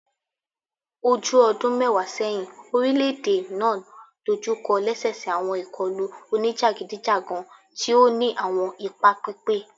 O ju ọdun mẹwa sẹhin, orilẹ-ede naa dojukọ lẹsẹsẹ awọn ikọlu onijagidijagan ti o ni awọn ipa pipẹ